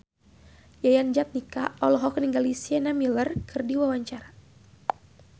Yayan Jatnika olohok ningali Sienna Miller keur diwawancara